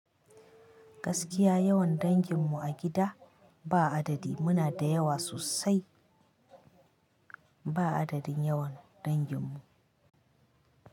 Gaskiya yawan dangin mu a gida ba adadi muna da yawa sosai ba adadin yawan dangin mu.